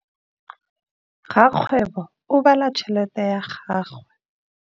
Rakgwêbô o bala tšheletê ya gagwe.